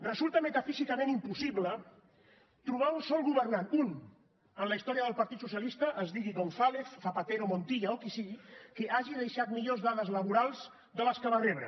resulta metafísicament impossible trobar un sol governant un en la història del partit socialista es digui gonzález zapatero montilla o qui sigui que hagi deixat millors dades laborals de les que va rebre